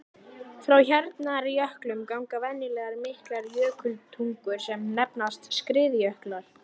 Frá hjarnjöklum ganga venjulega miklar jökultungur sem nefnast skriðjöklar.